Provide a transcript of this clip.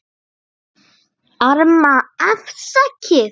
Arma: Afsakið